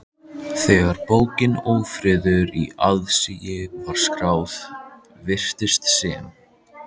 Þegar bókin Ófriður í aðsigi var skráð, virtist sem